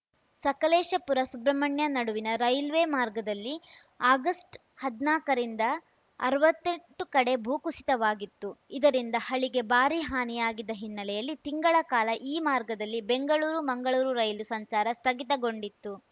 ಸಕಲೇಶಪುರಸುಬ್ರಹ್ಮಣ್ಯ ನಡುವಿನ ರೈಲ್ವೆ ಮಾರ್ಗದಲ್ಲಿ ಆಗಸ್ಟ್ಹದ್ನಾಕರಿಂದ ಅರ್ವತ್ತೆಂಟು ಕಡೆ ಭೂ ಕುಸಿತವಾಗಿತ್ತು ಇದರಿಂದ ಹಳಿಗೆ ಭಾರೀ ಹಾನಿಯಾಗಿದ್ದ ಹಿನ್ನೆಲೆಯಲ್ಲಿ ತಿಂಗಳ ಕಾಲ ಈ ಮಾರ್ಗದಲ್ಲಿ ಬೆಂಗಳೂರುಮಂಗಳೂರು ರೈಲು ಸಂಚಾರ ಸ್ಥಗಿತಗೊಂಡಿತ್ತು